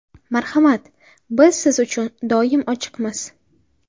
Marhamat, biz siz uchun doim ochiqmiz!